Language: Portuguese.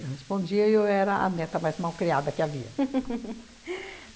Eu respondia e eu era a neta mais mal criada que havia.